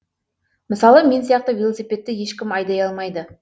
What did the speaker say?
мысалы мен сияқты велосипедті ешкім айдай алмайды